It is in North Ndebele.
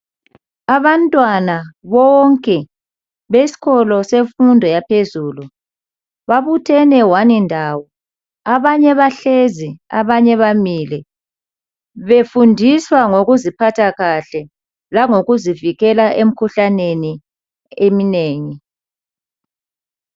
Abantwana bonke besikolo semfundo yaphezulu babuthene one ndawo abanye bahlezi abanye bamile befundiswa ngokuziphatha kahle langokuzivikela emikhuhlaneni eminengi.